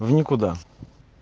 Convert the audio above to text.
в никуда